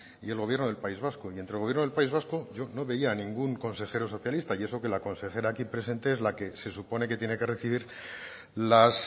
y el gobierno del país vasco y entre el gobierno del país vasco yo no veía ningún consejero socialista y eso que la consejera aquí presente es la que se supone que tiene que recibir las